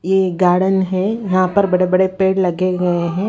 ये गार्डन है यहां पर बड़े-बड़े पेड़ लगे गए हैं--